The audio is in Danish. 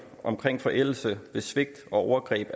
omkring forældelse i med svigt og overgreb